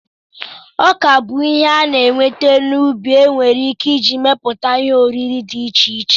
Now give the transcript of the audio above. Ọka bụ ihe a na-enweta n'ubi enwere ike iji emepụta ihe oriri dị iche iche.